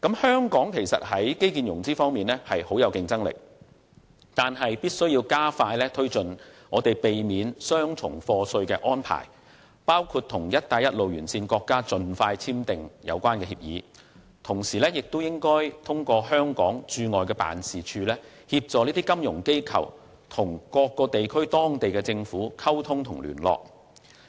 香港在基建融資方面具有相當競爭力，但必須加快推進避免雙重課稅的安排，包括盡快與"一帶一路"沿線國家簽訂有關協議，亦應通過香港駐外經濟貿易辦事處，協助金融機構與當地政府溝通和聯絡。